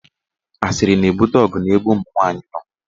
Asịrị na-ebute ọgụ n'ebe ụmụnwaanyị nọ.